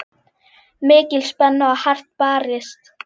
Mikil spenna og hart barist.